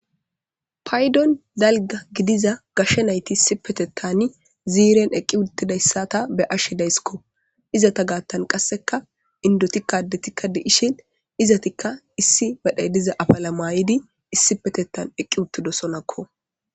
Paydon dalga gidiza gashshe nayti issi petetani ziiren eqqi uttidayssata beashidaysikko izata gaattan qasseka indoti kadetikka deishin izatikka issi badhay diza afala maayidi issipetetan eqqi uttido sonakko.